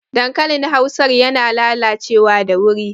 Dankalin Hausar yana lalacewa da wuri